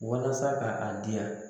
Walasa ka a di yan